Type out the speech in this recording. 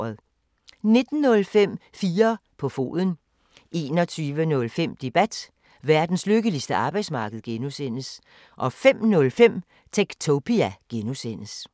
19:05: 4 på foden 21:05: Debat: Verdens lykkeligste arbejdsmarked (G) 05:05: Techtopia (G)